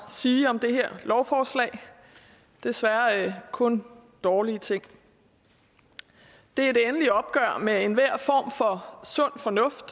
sige om det her lovforslag desværre kun dårlige ting det er et endeligt opgør med enhver form for sund fornuft